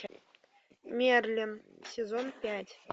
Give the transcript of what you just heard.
мерлин сезон пять